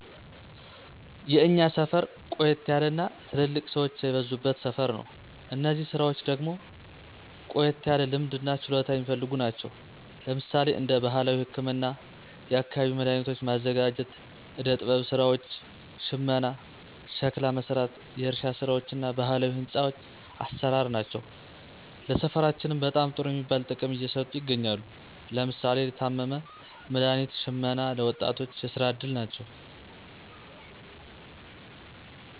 የእኛ ሰፈር ቆየት ያለ እና ትልልቅ ሰወች የበዙበት ሰፈር ነው። እነዚህ ስራወች ደግሞ ቆየት ያለ ልምድ እና ችሎታ የሚፈልጉ ናቸው። ለምሳሌ እንደ ባህላዊ ህክምና፣ የአካባቢው መዳኃኒቶች ማዘጋጀት፣ ዕደ ጥበብ ስራወች፣ ሽመና፣ ሸክላ መስራት፣ የእርሻ ስራወች እና ባህላዊ ህንፆ አሰራር ናቸው። ለሰፈራችንም በጣም ጥሩ የሚባል ጥቅም እየሰጡ ይገኛሉ። ለምሳሌ ለታመመ መድሀኒት ሽመና ለ ወጣቶች የስራ እድል ናቸው።